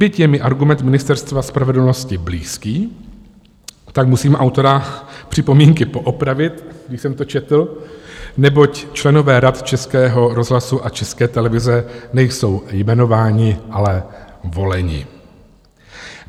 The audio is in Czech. Byť je mi argument Ministerstva spravedlnosti blízký, tak musím autora připomínky poopravit, když jsem to četl, neboť členové Rad Českého rozhlasu a České televize nejsou jmenováni, ale voleni.